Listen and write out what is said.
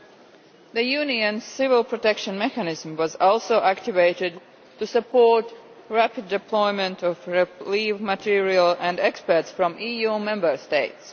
The European Unionʼs Civil Protection Mechanism was also activated to support the rapid deployment of relief material and experts from EU Member States.